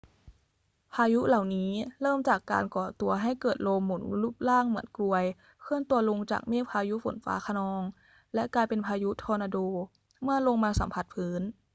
พายุเหล่านี้เริ่มจากการก่อตัวให้เกิดลมหมุนรูปร่างเหมือนกรวยเคลื่อนตัวลงจากเมฆพายุฝนฟ้าคะนอง และกลายเป็น พายุทอร์นาโด เมื่อลงมาสัมผัสพื้น